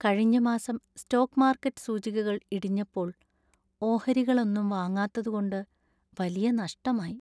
കഴിഞ്ഞ മാസം stock market സൂചികകൾ ഇടിഞ്ഞപ്പോൾ ഓഹരികളൊന്നും വാങ്ങാത്തതു കൊണ്ട് വലിയ നഷ്ടമായി.